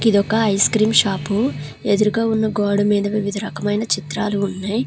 ఇది ఒక ice cream shop ఎదురుగా ఉన్న గోడ మీద వివిధ రకమైన చిత్రాలు ఉన్నాయి.